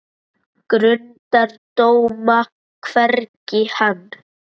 Grundar dóma, hvergi hann